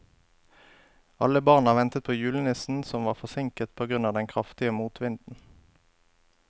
Alle barna ventet på julenissen, som var forsinket på grunn av den kraftige motvinden.